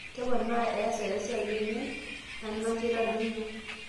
Keponaa easa esiai emion ana keitadoyio?